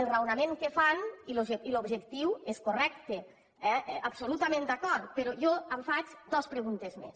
el raonament que fan i l’objectiu és correcte eh absolutament d’acord però jo em faig dos preguntes més